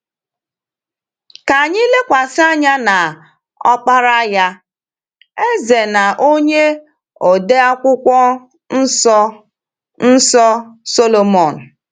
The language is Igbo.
Ka anyị lekwasị anya n’ọkpara ya — eze na onye ode Akwụkwọ Nsọ Nsọ — Sọlọmọn.